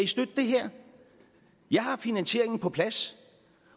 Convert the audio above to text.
støtte det her jeg har finansieringen på plads